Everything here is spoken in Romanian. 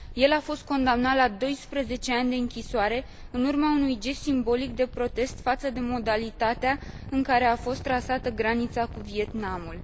El a fost condamnat la 12 ani de închisoare în urma unui gest simbolic de protest față de modalitatea în care a fost trasată granița cu Vietnamul.